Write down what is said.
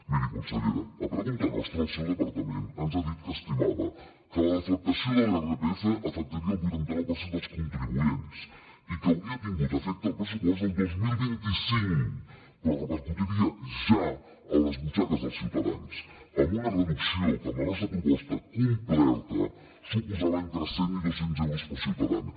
miri consellera a pregunta nostra el seu departament ens ha dit que estimava que la deflactació de l’irpf afectaria el vuitanta nou per cent dels contribuents i que hauria tingut efecte al pressupost el dos mil vint cinc però repercutiria ja a les butxaques dels ciutadans amb una reducció que amb la nostra proposta complerta suposava entre cent i dos cents euros per ciutadana